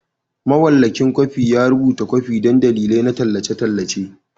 Mawallafin kwafi ya rubuta kwafi don dalilai na tallace-tallace.